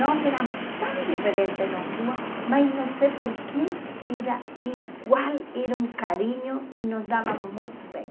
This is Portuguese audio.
Nós éramos tão diferentes, nós duas, mas não sei por quê, era igual, era um carinho e nos dávamos muito bem.